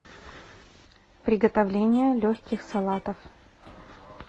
приготовление легких салатов